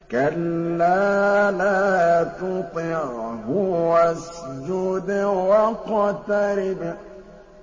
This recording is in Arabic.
كَلَّا لَا تُطِعْهُ وَاسْجُدْ وَاقْتَرِب ۩